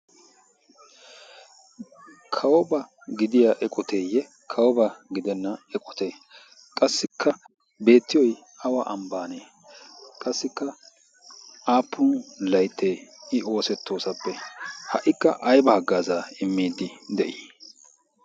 kawoba gidiya eqoteeyye kawoba gidenna eqotee? qassikka beettiyoi awa ambbaanee? qassikka aappun laittee i oosettoosappe ha77ikka aibaaggaazaa immiidi de7ii?